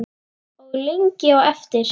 Og lengi á eftir.